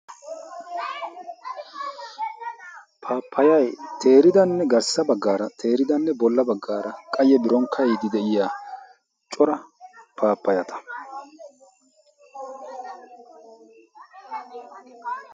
paappayay teeridanne garssa baggaara teeridanne bolla baggaara qayye biron ka7iidi de7iya cora paappayata.